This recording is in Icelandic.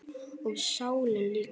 Og sálina líka.